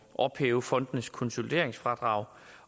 ophæve fondenes konsolideringsfradrag